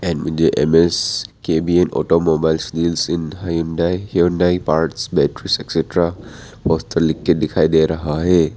मुझे M S K B N automobiles deals in Hyundai parts batteries extra poster लिख के दिखाई दे रहा है।